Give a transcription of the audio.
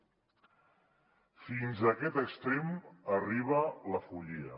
fins a aquest extrem arriba la follia